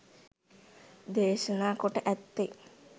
දේශනා කොට ඇත්තේ